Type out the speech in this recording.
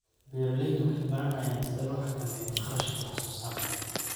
Beeraleydu waxay baranayaan sida loo xakameeyo kharashka wax soo saarka.